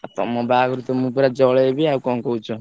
ଉ ତମ ବାହାଘରକୁ ତ ମୁଁ ପୁରା ଜଳେଇବି ଆଉ କଣ କହୁଛ।